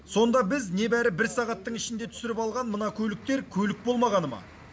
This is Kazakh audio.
сонда біз небәрі бір сағаттың ішінде түсіріп алған мына көліктер көлік болмағаны ма